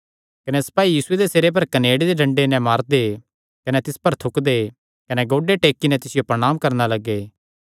कने सपाई यीशुये दे सिरे पर कनेड़े दे डंडे नैं मारदे कने तिस पर थुकदे कने गोड्डे टेक्की नैं तिसियो प्रणांम करणा लग्गे